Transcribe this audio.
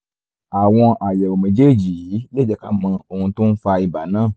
àwọn àyẹ̀wò méjèèjì yìí lè jẹ́ ká mọ ohun tó ń fa ibà náà